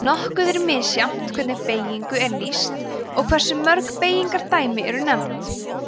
nokkuð er misjafnt hvernig beygingu er lýst og hversu mörg beygingardæmi eru nefnd